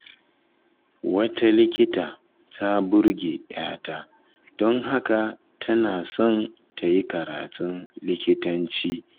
Wata likita ta burge 'yata, don haka tana son ta yi karatun likitanci.